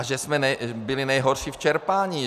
A že jsme byli nejhorší v čerpání.